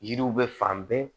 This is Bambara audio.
Yiriw bɛ fan bɛɛ